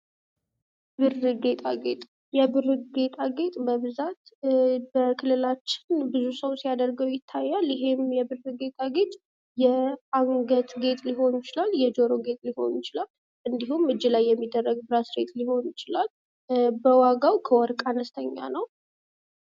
የብር ጌጣጌጥ የብር ጌጣጌጥ በብዛት በክልላችን ብዙ ሰው ሲያደርገው ይታያል። ይሄም የብር ጌጣጌጥ የአንገት ጌጥ ሊሆን ይችላል የጆሮ ጌጥ ሊሆን ይችላል እንዲሁም እጅ ላይ የሚደረግ ብራዝሌት ሊሆን ይችላል። በዋጋው ከወርቅ አነስተኛ ነው።